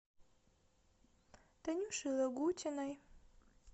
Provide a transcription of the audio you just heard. танюшей лагутиной